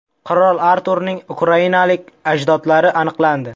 Qirol Arturning ukrainalik ajdodlari aniqlandi.